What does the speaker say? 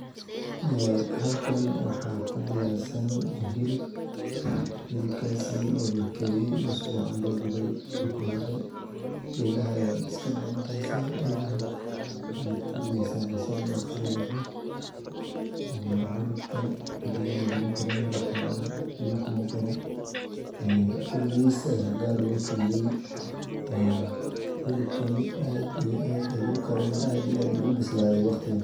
Halkan waxaa ku diyaarsan hilib si fican loo dube marka hore elaha ayaa iska daqeysa basal ayaa ku dareysa biya malagu darin hilibkan aad iyo aad ayuu ubislaade wuu kare waqtigan.